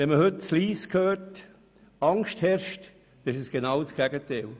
Wenn man sich heute in Lyss umhört, merkt man, es herrscht Angst, also genau das Gegenteil.